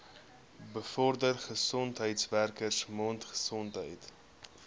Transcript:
bevorder gesondheidswerkers mondgesondheid